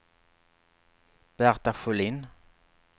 Berta Sjölin